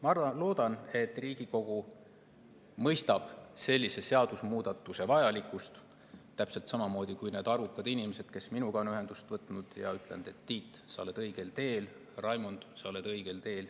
Ma loodan, et Riigikogu mõistab sellise seadusemuudatuse vajalikkust täpselt samamoodi kui need arvukad inimesed, kes minuga on ühendust võtnud ja ütelnud, et, Tiit, sa oled õigel teel, Raimond, sa oled õigel teel.